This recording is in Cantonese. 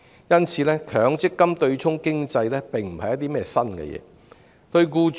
因此，強積金對沖機制並不是新事物。